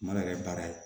Ma yɛrɛ baara ye